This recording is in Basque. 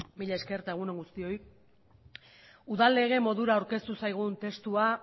mila esker eta egun on guztioi udal lege modura aurkeztu zaigun testua